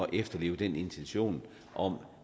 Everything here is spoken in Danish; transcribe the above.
at efterleve den intention om